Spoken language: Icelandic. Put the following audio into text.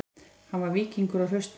Hann var víkingur og hraustmenni